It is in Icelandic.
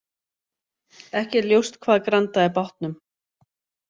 Ekki er ljóst hvað grandaði bátnum